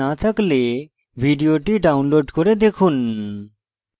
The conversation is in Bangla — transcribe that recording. ভাল bandwidth না থাকলে ভিডিওটি download করে দেখুন